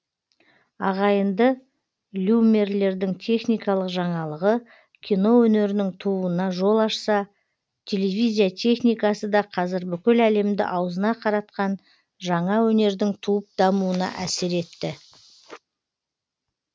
ағайынды льюмерлердің техникалық жаңалығы кино өнерінің тууына жол ашса телевизия техникасы да қазір бүкіл әлемді аузына қаратқан жаңа өнердің туып дамуына әсер етті